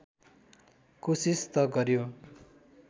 कोसिस त गर्‍यो